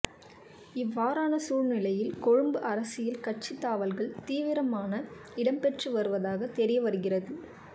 இவ்வாறான சூழ்நிலையில் கொழும்பு அரசியல் கட்சித் தாவல்கள் தீவிரமான இடம்பெற்று வருவதாக தெரிய வருகிறது